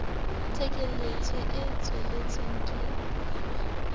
tekanyetso e tswellang ke lewa